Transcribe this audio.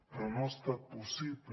però no ha estat possible